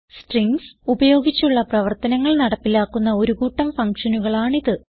strings ഉപയോഗിച്ചുള്ള പ്രവർത്തനങ്ങൾ നടപ്പിലാക്കുന്ന ഒരു കൂട്ടം ഫങ്ഷനുകളാണിത്